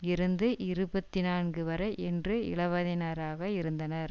இருந்து இருபத்தி நான்கு வரை என்று இளவயதினராக இருந்தனர்